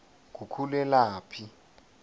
ngukhulelaphi